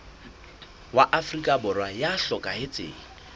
wa afrika borwa ya hlokahetseng